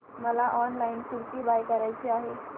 मला online kurti buy करायची आहे